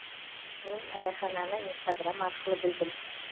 мен райхананы инстаграм арқылы білдім